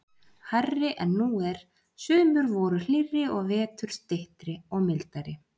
hærri en nú er, sumur voru hlýrri og vetur styttri og mildari.